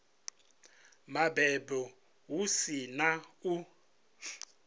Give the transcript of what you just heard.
mabebo hu si na u